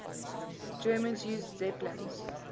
germans used zeppelins